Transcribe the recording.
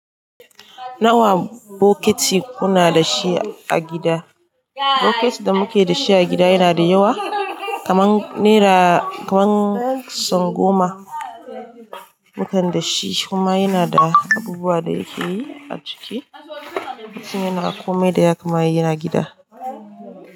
Nawa bokiti kuna dashi a gida? Bokiti da muke dashi a gida yana da yawa kaman naira kaman son goma, mukan da shi kuma yana da abubuwa da yake yi a ciki, mutum yana komai da ya kamata ya yi in yana igida.